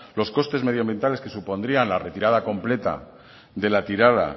los costes medioambientales que supondría la retirada completa de la tirada